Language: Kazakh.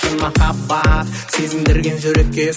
шын махаббат сезім берген жүрекке